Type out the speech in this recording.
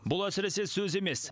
бұл әсіресе сөз емес